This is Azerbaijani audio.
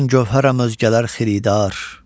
Mən gövhərəm özgələr xiridar.